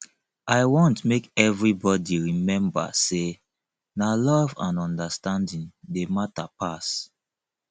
i want make everybodi rememba sey na love and understanding dey mata pass